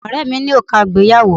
Ọ̀rẹ́ ẹ mí ní òrùka ìgbéyàwó